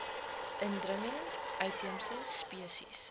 indringer uitheemse spesies